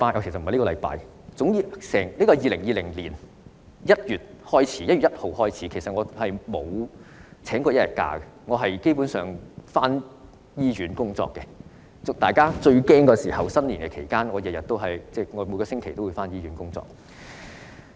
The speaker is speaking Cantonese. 由2020年1月1日開始，我沒有請過一天假，基本上都回到醫院工作，在大家最害怕的新年期間，我每星期也回到醫院工作。